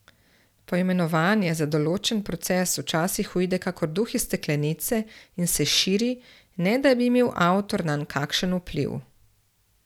Poimenovanje za določen proces včasih uide kakor duh iz steklenice in se širi, ne da bi imel avtor nanj kakšen vpliv.